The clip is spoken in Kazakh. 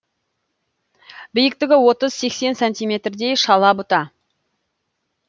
биіктігі отыз сексен сантиметрдей шала бұта